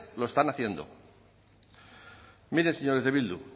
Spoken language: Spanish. lo están haciendo miren señores de bildu